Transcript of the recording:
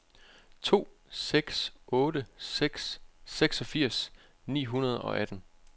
to seks otte seks seksogfirs ni hundrede og atten